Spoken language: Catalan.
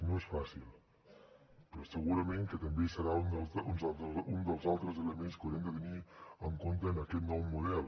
no és fàcil però segurament que també serà un dels altres elements que haurem de tenir en compte en aquest nou model